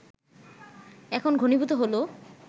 এখন ঘনীভূত হলো